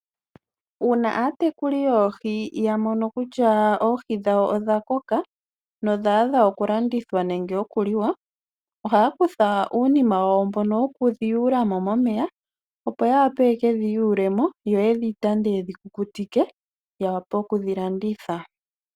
Uuna aatekuli yoohi ya mono kutya oohi dhawo odha koka nodha adha okulandithwa nenge okuliwa, ohaya kutha uunima wawo mbono wokudhi yuula mo momeya, opo ya wape ye dhi yule mo yo ye dhi tande ye dhi kukutike, ya wape okudhi landitha.